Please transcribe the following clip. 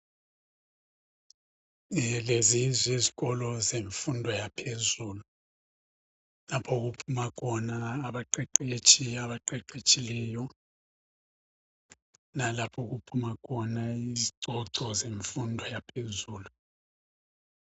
Lezi yizikolo zemfundo yaphezulu lapho okuphuma khona abaqeqetshi abaqeqetshileyo lalapho okuphuma khona izicoco zemfundo yaphezulu